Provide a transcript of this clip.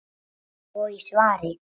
og í svari